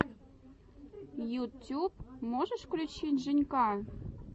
ютюб можешь включить женька